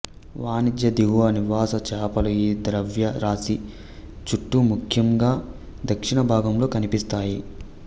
వాణిజ్య దిగువ నివాస చేపలు ఈ ద్రవ్యరాశి చుట్టూ ముఖ్యంగా దక్షిణ భాగంలో కనిపిస్తాయి